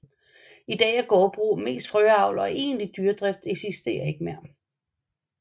I dag er gårdbrug mest frøavl og egentlig dyredrift eksisterer ikke mere